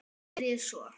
En hvað geri ég svo?